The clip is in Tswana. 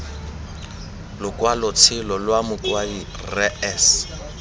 lokwalotshelo lwa mokwadi rre s